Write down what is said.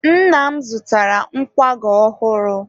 nna m zụtara nkwago ọhụrụ.